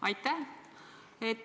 Aitäh!